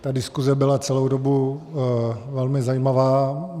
Ta diskuse byla celou dobu velmi zajímavá.